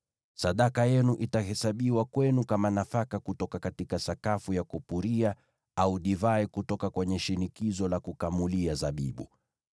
Sadaka yenu itahesabiwa kwenu kama nafaka kutoka sakafu ya kupuria, au divai kutoka kwenye shinikizo la kukamulia zabibu.